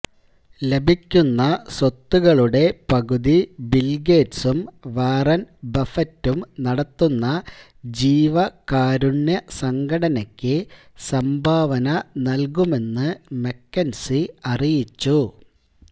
ലഭിക്കുന്ന സ്വത്തുകളുടെ പകുതി ബില്ഗേറ്റ്സും വാറന് ബഫറ്റും നടത്തുന്ന ജീവകാരുണ്യ സംഘടനക്ക് സംഭാവന നല്കുമെന്ന് മക്കെന്സി അറിയിച്ചു